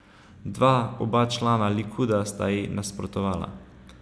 Dva, oba člana Likuda, sta ji nasprotovala.